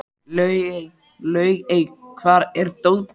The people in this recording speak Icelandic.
Laugey, hvar er dótið mitt?